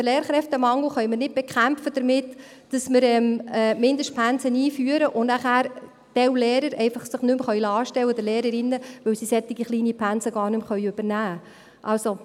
Denn den Lehrkräftemangel können wir nicht damit bekämpfen, dass wir Mindestpensen einführen und sich dann manche Lehrer oder Lehrerinnen nicht mehr anstellen lassen können, weil sie solch kleine Pensen gar nicht mehr übernehmen können.